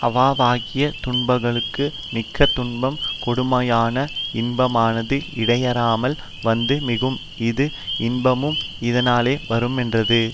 அவாவாகிய துன்பங்களுள் மிக்க துன்பம் கெடுமாயின் இன்பமானது இடையறாமல் வந்து மிகும் இஃது இன்பமும் இதனாலே வருமென்றது